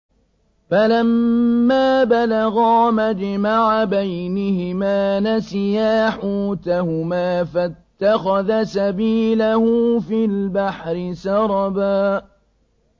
فَلَمَّا بَلَغَا مَجْمَعَ بَيْنِهِمَا نَسِيَا حُوتَهُمَا فَاتَّخَذَ سَبِيلَهُ فِي الْبَحْرِ سَرَبًا